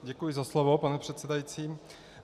Děkuji za slovo, pane předsedající.